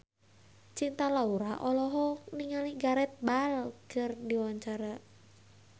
Cinta Laura olohok ningali Gareth Bale keur diwawancara